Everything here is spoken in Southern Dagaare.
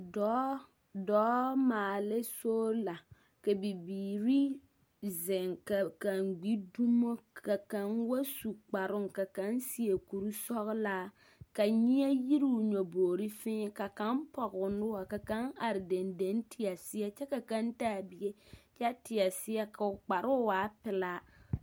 Dɔɔ dɔɔ maalɛ soola ka bibiiri zeŋ ka kaŋ gbi dumo ka kaŋ wa su kparoo, ka kaŋ seɛ kursɔgelaa ka nyɛɛ yiruu nyɔboori fẽẽ. Ka kaŋ pɔg'o noɔr, ka kaŋ ar dendeŋ teɛ seɛ, kyɛ ka kaŋ taa bie kyɛ teɛ seɛ k'o kparoo waa pelaa.